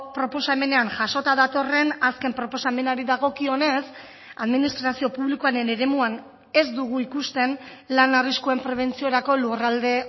proposamenean jasota datorren azken proposamenari dagokionez administrazio publikoaren eremuan ez dugu ikusten lan arriskuen prebentziorako lurralde